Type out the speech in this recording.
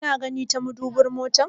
Kana gani ta madubin motar?